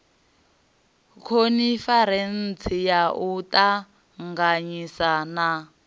khoniferentsi ya u ṱanganyisa na